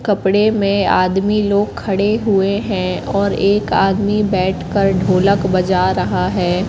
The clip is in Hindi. कपड़े में आदमी लोग खड़े हुए हैं और एक आदमी बैठकर ढोलक बजा रहा है।